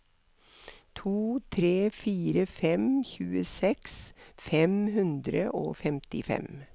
to tre fire fem tjueseks fem hundre og femtifem